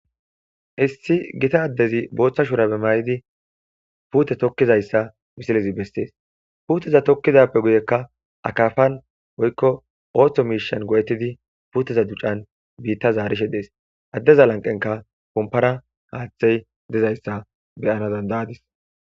Issi gita addezi puute tokkishe dizaysa misilezi besees,puuteza tokkidappe guyenka akaapan woykko ootho miishsha go7ettidi puuteza ducan biitta zaarishe dees addeza lanqenka haaththeypompara dizaysa beyadis.